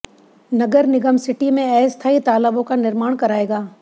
नगर निगम सिटी में अस्थाई तालाबों का निर्माण कराएगा